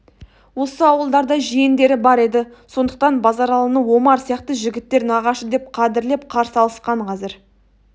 осы ауылдарда жиендері бар еді сондықтан базаралыны омар сияқты жігіттер нағашы деп қадірлеп қарсы алысқан қазір